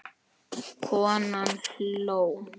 Konan hló.